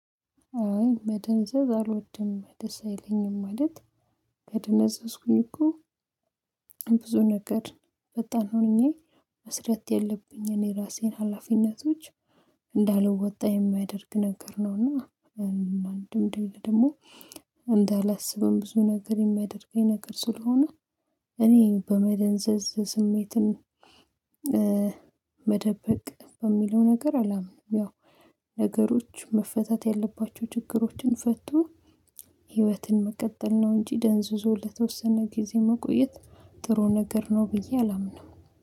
አይ መደንዘዝ አልወድም ደስ አይለኝም ማለት ከደነዘዝኩኝ እኮ ነገር ፈጣን ሆኜ መስረት የለብኝን የራሴን ሀላፊነቶች እንዳልወጣ የማያደርግ ነገር ነው። እና እንደምድል ደግሞ እንዳላስብም ብዙ ነገር የሚያደርገኝ ነገር ስለሆነ እኔ በመደንዘዝ ስሜትን መደበቅ በሚለው ነገር አላምንም። ያው ነገሮች መፈታት ያለባቸው ችግሮችን ፈቶ ህይወትን መቀጠል ነው እንጂ ደንዝዞ ለተወሰነ ጊዜ መቆየት ጥሩ ነገር ነው ብዬ አላምንም